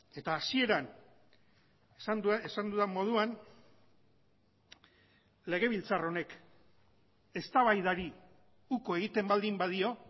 eta hasieran esan dudan moduan legebiltzar honek eztabaidari uko egiten baldin badio